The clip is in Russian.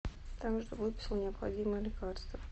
там же выписал необходимое лекарство